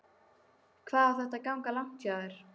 Hvað á þetta að ganga langt hjá þér?